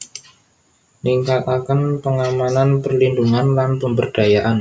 Ningkataken pengamanan perlindhungan lan pemberdayaan